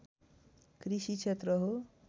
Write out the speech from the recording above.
कृषि क्षेत्र हो